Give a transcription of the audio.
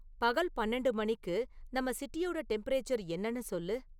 பகல் பன்னெண்டு மணிக்கு நம்ம சிட்டியோட டெம்பரேச்சர் என்னனு சொல்லு